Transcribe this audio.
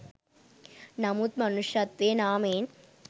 නමුත් මනුෂ්‍යත්වයේ නාමයෙන්